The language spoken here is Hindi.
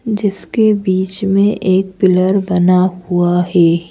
जिसके बीच में एक पिलर बना हुआ है।